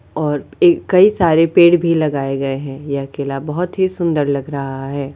और एक कई सारे पेड़ भी लगाए गए हैं ये अकेला बोहत ही सुंदर लग रहा है।